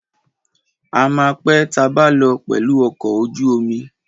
A ma pé tabá lọ pẹ̀lù ọkọ̀ ojú omi.